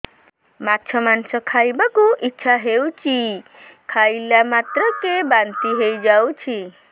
ମାଛ ମାଂସ ଖାଇ ବାକୁ ଇଚ୍ଛା ହଉଛି ଖାଇଲା ମାତ୍ରକେ ବାନ୍ତି ହେଇଯାଉଛି